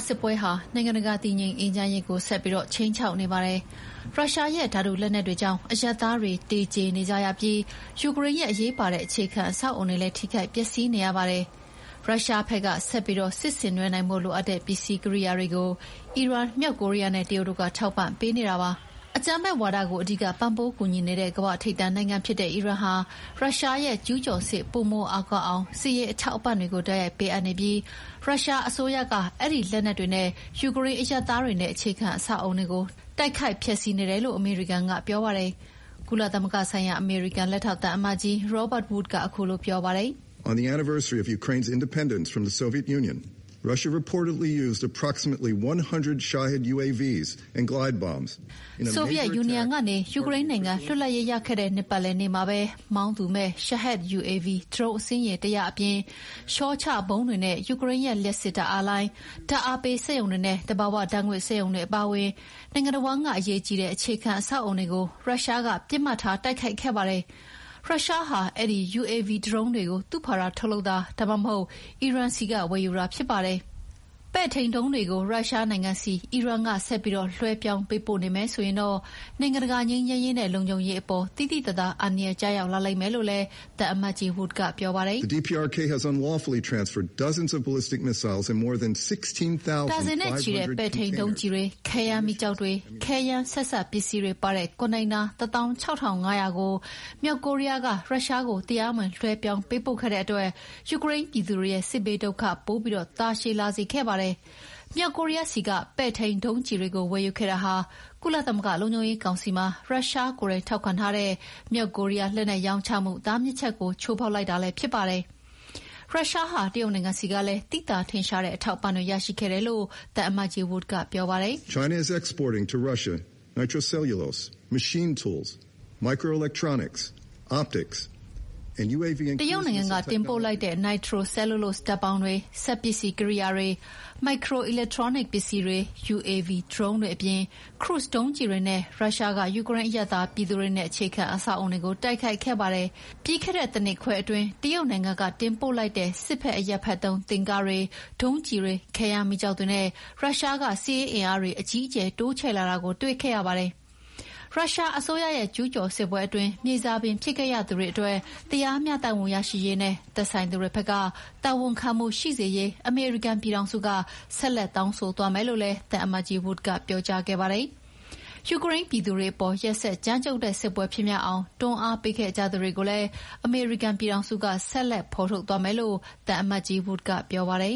စစ်ပွဲဟာ နိုင်ငံတကာတည်ငြိမ်အေးချမ်းရေးကို ဆက်ပြီးခြိမ်းခြောက်နေပါတယ်။ ရုရှားရဲ့ဓာတုလက်နက်တွေကြောင့် အရပ်သားတွေသေကျေနေကြရပြီး ယူကရိန်းရဲ့ အရေးပါတဲ့ အခြေခံအဆောက်အအုံတွေလည်း ထိခိုက်ပျက်စီးနေရပါတယ်။ ရုရှားဘက်က ဆက်ပြီးစစ်ဆင်နွှဲနိုင်ဖို့ လိုအပ်တဲ့ ပစ္စည်းကိရိယာတွေကို အီရန်၊ မြောက်ကိုရီးယားနဲ့ တရုတ်တို့ကထောက်ပံ့ပေးနေပါတယ်။ အကြမ်းဖက်ဝါဒကို အဓိကပံ့ပိုးကူညီနေတဲ့ ကမ္ဘာ့ထိပ်တန်း နိုင်ငံဖြစ်တဲ့ အီရန်ဟာ ရုရှားရဲ့ကျူးကျော်စစ် ပိုမိုအားကောင်းအောင် စစ်ရေးအထောက်အပံ့တွေ တိုက်ရိုက်ပေးအပ်နေပြီး ရုရှားအစိုးရက အဲဒီလက်နက်တွေနဲ့ ယူကရိန်းအရပ်သားတွေနဲ့ အခြေခံ အဆောက်အအုံတွေကို တိုက်ခိုက်ဖျက်ဆီးနေတယ်လို့ အမေရိကန်ကပြောပါတယ်။ ကုလသမဂ္ဂဆိုင်ရာ အမေရိကန် လက်ထောက် သံအမတ်ကြီး Robert Wood ကခုလိုပြောပါတယ်။ “ဆိုဗီယက်ယူနီယံကနေ ယူကရိန်းနိုင်ငံ လွတ်လပ်ရေးရခဲ့တဲ့ နှစ်ပတ်လည်နေ့မှာ မောင်းသူမဲ့ Shahed UAV ဒရုန်းအစင်းရေ ၁၀၀ အပြင် လျှောချဗုံးတွေနဲ့ ယူကရိန်းရဲ့ လျှပ်စစ်ဓာတ်အားလိုင်း၊ ဓာတ်အားပေးစက်ရုံတွေနဲ့ သဘာဝဓာတ်ငွေ့စက်ရုံတွေအပါအဝင် နိုင်ငံတဝှမ်းက အရေးကြီးတဲ့ အခြေခံအဆောက်အအုံတွေကို ရုရှားက ပစ်မှတ်ထား တိုက်ခိုက်ခဲ့ပါတယ်။ ရုရှားဟာ အဲဒီ UAV ဒရုန်းတွေကို သူ့ဖာသာ ထုတ်လုပ်တာ ဒါမှမဟုတ် အီရန်ဆီက ဝယ်ယူတာဖြစ်ပါတယ်။” ပဲ့ထိန်းဒုံးတွေကို ရုရှားနိုင်ငံဆီ အီရန်က ဆက်ပြီးလွှဲပြောင်းပေးပို့နေမယ်ဆိုရင်တော့ နိုင်ငံတကာ ငြိမ်းချမ်းရေးနဲ့လုံခြုံရေးကိုအပေါ် သိသိသာသာ အန္တရာယ်ကျရာက်လာလိမ့်မယ်လို့လည်း သံအမတ်ကြီး wood ကပြောပါတယ်။ “ ဒါဇင်နဲ့ချီတဲ့ ပဲ့ထိန်းဒုံးကျည်တွေ၊ ခဲယမ်းမီးကျောက်တွေ၊ ခဲယမ်းဆက်စပ်ပစ္စည်းတွေပါတဲ့ ကွန်တိန်နာ ၁၆,၅၀၀ ကို မြောက်ကိုရီးယားက ရုရှားကို တရားမဝင် လွှဲပြောင်းပေးပို့ခဲ့တဲ့အတွက် ယူကရိန်းပြည်သူတွေရဲ့ စစ်ဘေးဒုက္ခ ပိုပြီးတာရှည်လာစေခဲ့ပါတယ်။ မြောက်ကိုရီးယားဆီက ပဲ့ထိန်းဒုံးကျည်တွေကို ဝယ်ယူခဲ့တာဟာ ကုလသမဂ္ဂလုံခြုံရေးကောင်စီမှာ ရုရှားကိုယ်တိုင် ထောက်ခံထားတဲ့ မြောက်ကိုရီးယား လက်နက်ရောင်းချမှုတားမြစ်ချက်ကို ချိုးဖောက်လိုက်တာလည်း ဖြစ်ပါတယ်။ ရုရှားဟာ တရုတ်နိုင်ငံဆီကလည်း သိသာထင်ရှားတဲ့ အထောက်အပံ့တွေ ရရှိခဲ့တယ်လို့ သံအမတ်ကြီး Wood ကပြောပါတယ်။ “တရုတ်နိုင်ငံကတင်ပို့လိုက်တဲ့ nitro-cellulose ဓာတ်ပေါင်းတွေ၊ စက်ပစ္စည်းကိရိယာတွေ၊ မိုက်ခရို အီလက်ထရွန်းနစ်ပစ္စည်းတွေ၊ UAV ဒရုန်းတွေအပြင် ခရုဇ်ဒုံးကျည်တွေနဲ့ ရုရှားက ယူကရိန်း အရပ်သားပြည်သူတွေနဲ့ အခြေခံအဆောက်အအုံတွေကို တိုက်ခိုက်ခဲ့ပါတယ်။ ပြီးခဲ့တဲ့တနှစ်ခွဲအတွင်း တရုတ်နိုင်ငံကတင်ပို့လိုက်တဲ့ စစ်ဖက်-အရပ်ဖက်သုံး တင့်ကားတွေ၊ ဒုံးကျည်တွေ၊ ခဲယမ်းမီးကျောက်တွေနဲ့ ရုရှားက စစ်ရေးအင်အားတွေ အကြီးအကျယ် တိုးချဲ့လာတာကို တွေ့ခဲ့ရပါတယ်။” ရုရှားအစိုးရရဲ့ ကျူးကျော်စစ်ပွဲအတွင်း မြေစာပင်ဖြစ်ခဲ့ရတဲ့သူတွေအတွက် တရားမျှတမှုရရှိရေးနဲ့ သက်ဆိုင်သူတွေဖက်က တာဝန်ခံမှုရှိစေရေး အမေရိကန်ပြည်ထောင်စုက ဆက်လက်တောင်းဆို သွားမယ်လို့လည်း သံအမတ်ကြီး Wood ကပြောကြားခဲ့ပါတယ်။ ယူကရိန်းပြည်သူတွေအပေါ် ရက်စက်ကြမ်းကြုတ်တဲ့ စစ်ပွဲဖြစ်မြောက်အောင် တွန်းအားပေးခဲ့ကြသူတွေကိုလည်း အမေရိကန်ပြည်ထောင်စုက ဆက်လက် ဖော်ထုတ်သွားမယ်လို့ သံအမတ်ကြီး Wood ကပြောပါတယ်